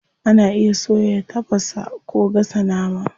Ana iya soya, tafasa, ko gasa nama.